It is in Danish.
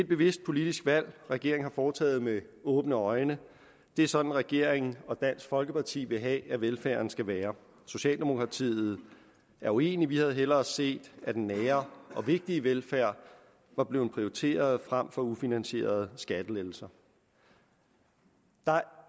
bevidst politisk valg regeringen har foretaget med åbne øjne det er sådan regeringen og dansk folkeparti vil have at velfærden skal være socialdemokratiet er uenig vi havde hellere set at den nære og vigtige velfærd var blevet prioriteret frem for ufinansierede skattelettelser der er